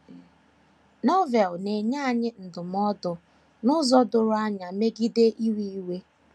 Novel na - enye anyị ndụmọdụ n’ụzọ doro anya megide iwe iwe.